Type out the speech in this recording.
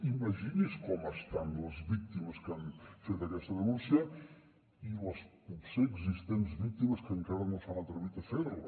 imagini’s com estan les víctimes que han fet aquesta denúncia i les potser existents víctimes que encara no s’han atrevit a fer la